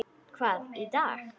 Hvaða dag?